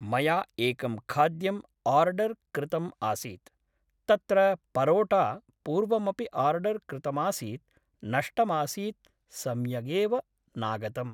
मया एकं खाद्यम् आर्डर् कृतम् आसीत् तत्र परोटा पूर्वमपि आर्डर् कृतमासीत् नष्टमासीत् सम्यगेव नागतम्